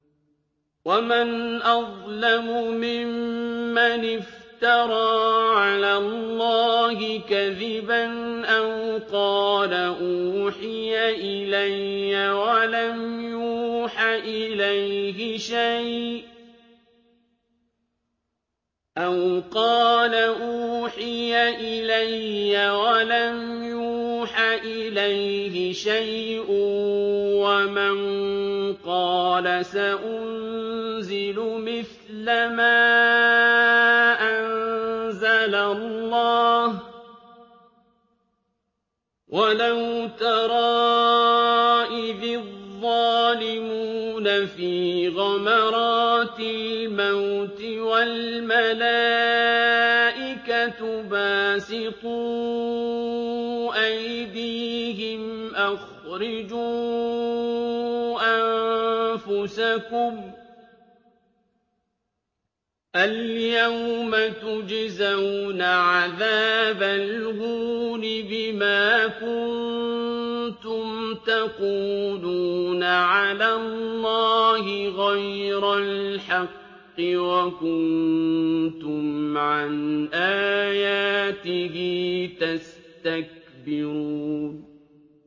وَمَنْ أَظْلَمُ مِمَّنِ افْتَرَىٰ عَلَى اللَّهِ كَذِبًا أَوْ قَالَ أُوحِيَ إِلَيَّ وَلَمْ يُوحَ إِلَيْهِ شَيْءٌ وَمَن قَالَ سَأُنزِلُ مِثْلَ مَا أَنزَلَ اللَّهُ ۗ وَلَوْ تَرَىٰ إِذِ الظَّالِمُونَ فِي غَمَرَاتِ الْمَوْتِ وَالْمَلَائِكَةُ بَاسِطُو أَيْدِيهِمْ أَخْرِجُوا أَنفُسَكُمُ ۖ الْيَوْمَ تُجْزَوْنَ عَذَابَ الْهُونِ بِمَا كُنتُمْ تَقُولُونَ عَلَى اللَّهِ غَيْرَ الْحَقِّ وَكُنتُمْ عَنْ آيَاتِهِ تَسْتَكْبِرُونَ